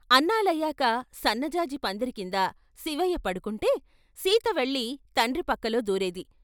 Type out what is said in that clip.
అన్నాలయాక సన్న జాజి పందిరికింద శివయ్య పడుకుంటే సీత వెళ్ళి తండ్రి పక్కలో దూరేది.